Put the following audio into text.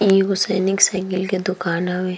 इ एगो सैनिक साइकिल के दूकान होवे।